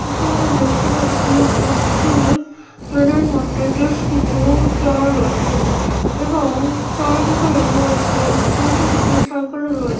এখানে দেখতে পাচ্ছি একটি ফেনের মধ্যে বেশ কিছু চোর রয়েছে এবং চারি দিকে দেখা যাচ্ছে দু তিনটি সাইকেল ও রয়েছে ।